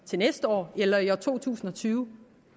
til næste år eller i to tusind og tyve